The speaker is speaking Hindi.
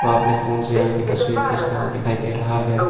आपने फोन से यहां की तस्वीर खींचता हुआ दिखाई दे रहा है।